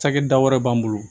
Cakɛda wɛrɛ b'an bolo